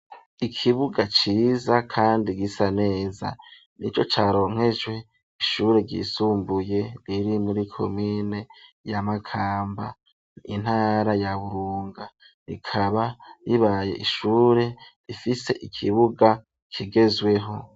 Ikibuga ciza, kandi gisa neza; nico caronkejwe, ishure ryisumbuye, riri muri komine ya Makamba, intara ya Burunga; rikaba ribaye ishure, rifise ikibuga, kigezweho.